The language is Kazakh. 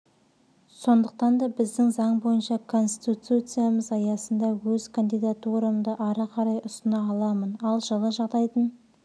сондықтан да біздің заң бойынша конституциямыз аясында өз кандидатурамды ары қарай ұсына аламын ал жылы жағдайдың